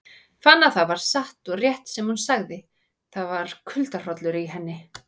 Fann að það var satt og rétt sem hún sagði, það var kuldahrollur í henni.